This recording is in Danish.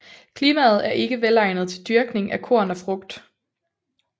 Klimaet er ikke velegnet til dyrkning af korn og frugt